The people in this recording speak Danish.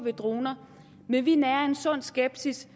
i droner men vi nærer en sund skepsis